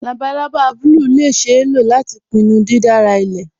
Labalaba bùlùù lè ṣeé ló lati pínnú dídárà ilẹ̀.